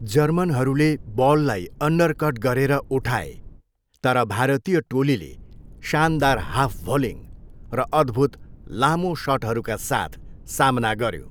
जर्मनहरूले बललाई अन्डरकट गरेर उठाए, तर भारतीय टोलीले शानदार हाफ भलिङ्ग र अद्भुत लामो सटहरूका साथ सामना गऱ्यो।